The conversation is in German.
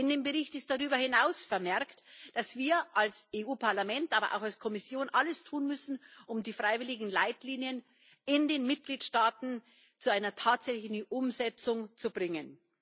In dem Bericht ist darüber hinaus vermerkt, dass wir als EU Parlament, aber auch als Kommission, alles tun müssen, um die freiwilligen Leitlinien in den Mitgliedstaaten zu einer tatsächlichen Umsetzung zu bringen.